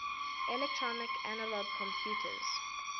electronic analog computers